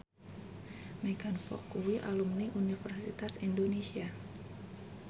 Megan Fox kuwi alumni Universitas Indonesia